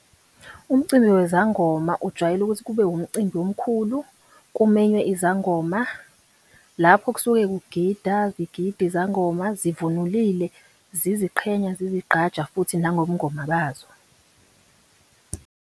Umcimbi wezangoma ujwayele ukuthi kube umcimbi omkhulu, kumenywe izangoma, lapho kusuke kugida zigida izangoma zivunulile, ziziqhenya, zizigqaja futhi nangobungoma bazo.